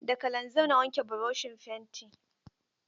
Da kalanzir na wanke broshin fenti.